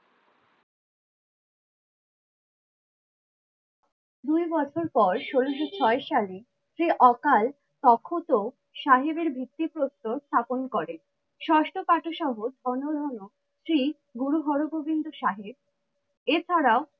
দুই বছর পর ষোলোশো ছয় সালে যে অকাল তখত সাহেবের ভিত্তিপ্রস্তর স্থাপন করে। ষষ্ট শ্রী গুরু হরগোবিন্দ সাহেব এছাড়াও